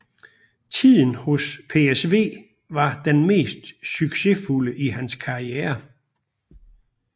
Tiden hos PSV var den mest succesfulde i hans karriere